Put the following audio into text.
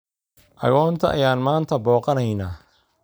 Agoonta ayaan maanta booqanaynaa